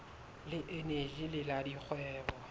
le eneji le la dikgwebo